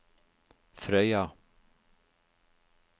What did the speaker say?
Frøya